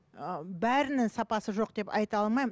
ыыы бәрінің сапасы жоқ деп айта алмаймын